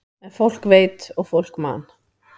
En fólk veit og fólk man.